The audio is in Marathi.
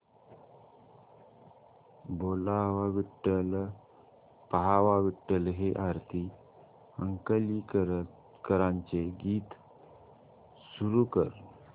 बोलावा विठ्ठल पहावा विठ्ठल हे आरती अंकलीकरांचे गीत सुरू कर